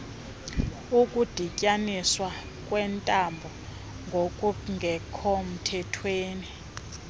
ukudityaniswa kweentambo ngokungekhomthethweni